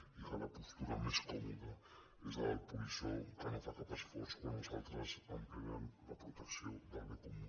i ara la postura més còmoda és la del polissó que no fa cap esforç quan els altres emprenen la protecció del bé comú